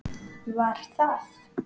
Var það